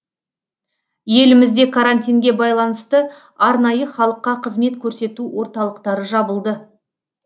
елімізде карантинге байланысты арнайы халыққа қызмет көрсету орталықтары жабылды